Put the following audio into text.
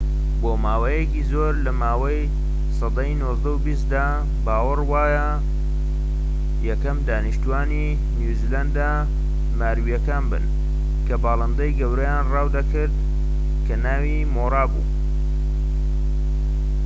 بۆماوەیەکی زۆر لەماوەی سەدەی نۆزدە و بیستدا باوەڕ وابوو یەکەم دانیشتوانی نیوزیلەندە ماوریەکان بن کە باڵندەی گەورەیان ڕاو دەکرد کە ناوی مۆوا بوو